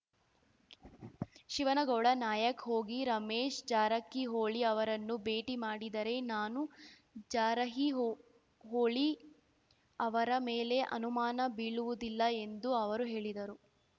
ಶಿವನಗೌಡ ನಾಯಕ್ ಹೋಗಿ ರಮೇಶ್ ಜಾರಕಿಹೊಳಿ ಅವರನ್ನು ಭೇಟಿ ಮಾಡಿದರೆ ನಾನು ಜಾರಕಿಹೊಳಿ ಅವರ ಮೇಲೆ ಅನುಮಾನ ಬೀಳುವುದಿಲ್ಲ ಎಂದು ಅವರು ಹೇಳಿದರು